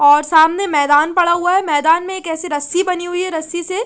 और सामने मैदान पड़ा हुआ है मैदान में एक ऐसी रस्सी बनी हुई है रस्सी से--